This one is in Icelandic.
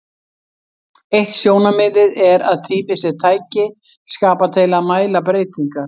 Eitt sjónarmiðið er að tími sé tæki skapað til að mæla breytingar.